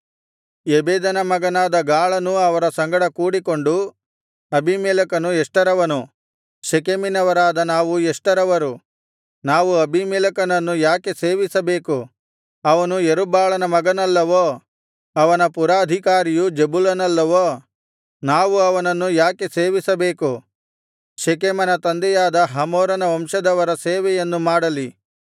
ಎಬೆದನ ಮಗನಾದ ಗಾಳನೂ ಅವರ ಸಂಗಡ ಕೂಡಿಕೊಂಡು ಅಬೀಮೆಲೆಕನು ಎಷ್ಟರವನು ಶೆಕೆಮಿನವರಾದ ನಾವು ಎಷ್ಟರವರು ನಾವು ಅಬೀಮೆಲೆಕನನ್ನು ಯಾಕೆ ಸೇವಿಸಬೇಕು ಅವನು ಯೆರುಬ್ಬಾಳನ ಮಗನಲ್ಲವೋ ಅವನ ಪುರಾಧಿಕಾರಿಯು ಜೆಬುಲನಲ್ಲವೋ ನಾವು ಅವನನ್ನು ಯಾಕೆ ಸೇವಿಸಬೇಕು ಶೆಕೆಮನ ತಂದೆಯಾದ ಹಮೋರನ ವಂಶದವರ ಸೇವೆಯನ್ನು ಮಾಡಲಿ